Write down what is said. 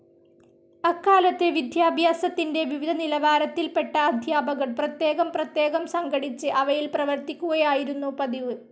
അക്കാലത്ത് വിദ്യാഭ്യാസത്തിന്റെ വിവിധ നിലവാരത്തിൽപെട്ട അധ്യാപകർ പ്രത്യേകം പ്രത്യേകം സംഘടിച്ച് അവയിൽ പ്രവർത്തിക്കുകയായിരുന്നു പതിവ്.